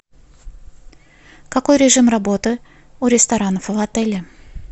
какой режим работы у ресторанов в отеле